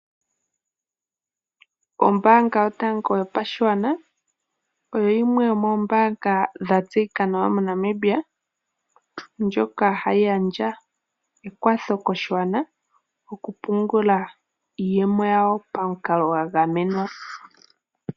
Ombaanga yotango yopashigwana oyo yimwe yomombanga dhatseyika nawa moNamibia ndyoka hayi gandja omakwatho koshigwana okupungula iiyemo yawo pamukalo gwagamenwa.